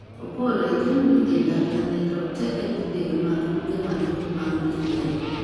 Opollo igeno ni dhi dar Nyalenda roteke didek mag duke madongo mag Piny Kenya